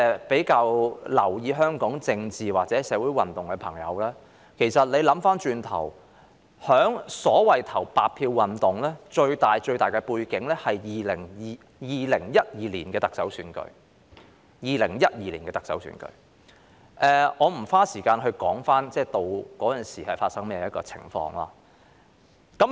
比較留意香港政情或社會運動的人士如回頭細想，白票運動的最大背景其實是2012年的特首選舉，但我不會在此花時間闡述當時情況。